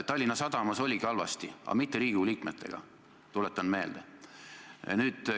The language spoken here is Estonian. Tallinna Sadamas oligi halvasti, aga mitte Riigikogu liikmetega, tuletan meelde.